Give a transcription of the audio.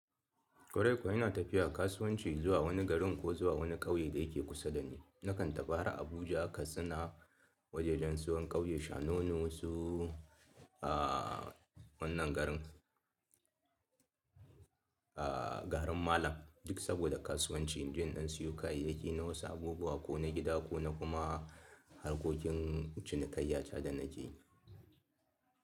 Kwarai kuwa ina tafiya kasuwanci zuwa wani garin ko zuwa wani ƙauye da yake kusa da ni. Nakan tafi har Abuja Katsina wajajen zuwan ƙauye shanono su a wannan garin. A garin Malam duk saboda kasuwanci inje in ɗan siyo kayayyaki na wasu abubuwa ko na gida ko na kuma harkokin cinikayya ta da na ke.